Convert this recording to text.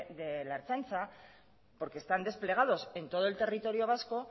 de la ertzaintza porque están desplegados en todo el territorio vasco